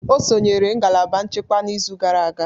Ọ sonyeere ngalaba nchekwa n'izu gara aga